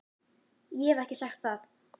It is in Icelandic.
Ég hef ekki sagt það!